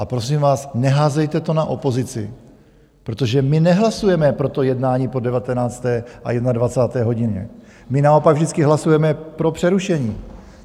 A prosím vás, neházejte to na opozici, protože my nehlasujeme pro to jednání po 19. a 21. hodině, my naopak vždycky hlasujeme pro přerušení.